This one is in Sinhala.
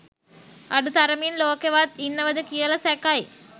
අඩු තරමින් ලෝකෙවත් ඉන්නවද කියල සැකයි